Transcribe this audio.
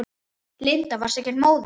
Linda: Varstu ekkert móður?